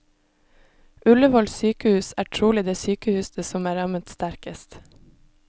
Ullevål sykehus er trolig det sykehuset som er rammet sterkest.